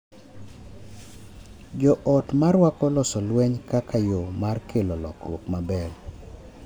Jo ot ma rwako loso lweny kaka yo mar kelo lokruok maber